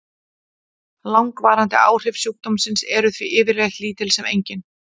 Langvarandi áhrif sjúkdómsins eru því yfirleitt lítil sem engin.